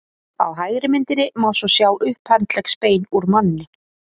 á hægri myndinni má svo sjá upphandleggsbein úr manni